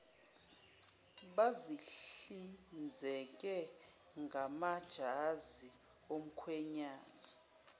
bazihlinzeke ngamajazi omkhwenyana